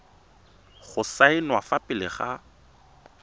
go saenwa fa pele ga